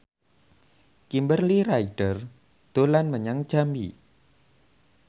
Kimberly Ryder dolan menyang Jambi